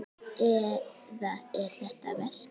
Eða er þetta veski?